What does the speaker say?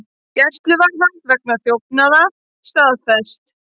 Gæsluvarðhald vegna þjófnaða staðfest